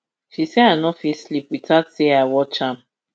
she say i no fit sleep witout say i watch am